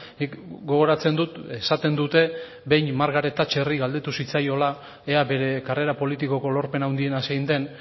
nik gogoratzen dut esaten dute behin margaret thatcherri galdetu zitzaiola ea bere karrera politikoko lorpen handiena zein den